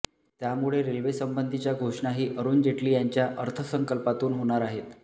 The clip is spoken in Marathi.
त्यामुळे रेल्वेसंबंधीच्या घोषणाही अरुण जेटली यांच्या अर्थसंकल्पातून होणार आहेत